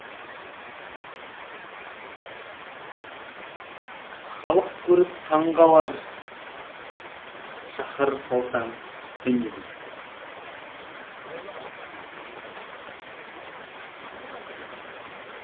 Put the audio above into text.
халық көріп таң қалар шаһар салсаң сен елде